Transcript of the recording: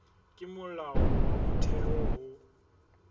ke molao wa motheo ho